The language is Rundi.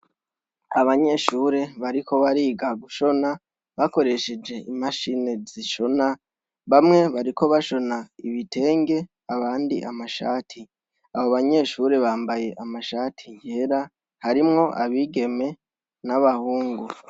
Abanyeshure bariko bariga gushona bakoresheje imashini zishona bamwe bariko bashona ibitenge abandi amashati. Abo banyeshure bambaye amashati yera harimwo abigeme n'abahungu.